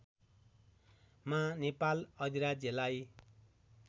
मा नेपाल अधिराज्यलाई